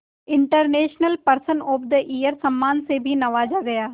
international person of the year सम्मान से भी नवाजा गया